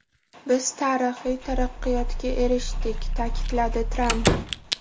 Biz tarixiy taraqqiyotga erishdik”, ta’kidladi Tramp.